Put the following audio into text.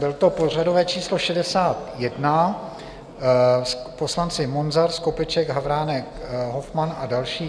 Bylo to pořadové číslo 61 - poslanci Munzar, Skopeček, Havránek, Hofmann a další.